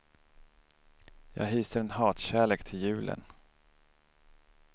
Jag hyser en hatkärlek till julen.